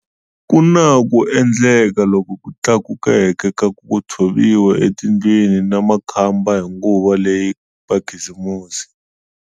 Ku na ku endleka loku tlakukeke ka ku tshoviwa etindlwini na makhamba hi nguva leya makhisimusi.